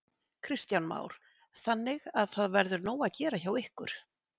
Kristján Már: Þannig að það verður nóg að gera hjá ykkur?